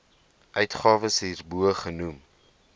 uitgawes hierbo genoem